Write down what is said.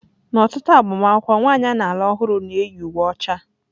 N'ọtụtụ agbamakwụkwọ, nwanyị a na-alụ ọhụrụ na-eyi uwe ọcha.